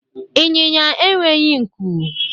Ịnyịnya enweghị nku